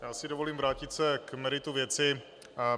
Já si dovolím vrátit se k meritu věci.